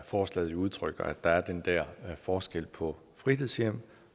forslaget udtrykker altså at der er den der forskel på fritidshjem